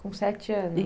Com sete anos